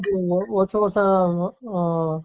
ಇನ್ನೂ ಹೊಸ ಹೊಸ ಹ